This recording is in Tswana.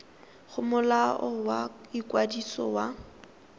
go molao wa ikwadiso wa